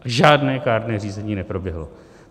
Žádné kárné řízení neproběhlo.